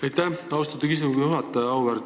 Aitäh, austatud istungi juhataja!